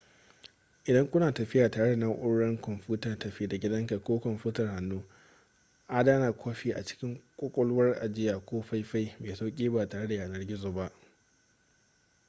idan kuna tafiya tare da naurar kwamfutar tafi-da-gidanka ko kwamfutar hannu adana kwafi a cikin ƙwaƙwalwar ajiya ko faifai mai sauƙi ba tare da yanar gizo ba